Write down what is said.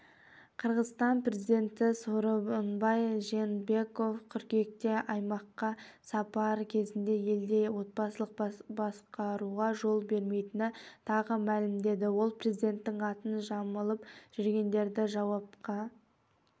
қырғызстан президенті сооронбай жээнбеков қыркүйекте аймаққа сапары кезінде елде отбасылық басқаруға жол бермейтінін тағы мәлімдеді ол президенттің атын жамылып жүргендерді жауапқа